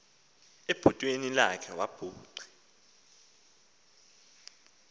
ebhotweni lakhe wabugqi